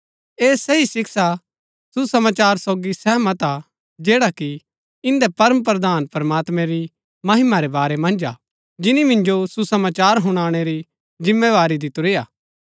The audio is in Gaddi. ऐह सही शिक्षा सुसमाचार सोगी सहमत हा जैडा कि इन्दै परमप्रधान प्रमात्मैं री महिमा रै बारै मन्ज हा जिनी मिन्जो सुसमाचार हुनाणै री जिम्मेवारी दितुरी हा